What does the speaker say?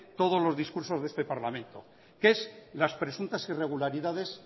todos los discursos de este parlamento que es las presuntas irregularidades